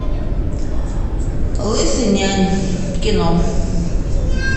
лысый нянь кино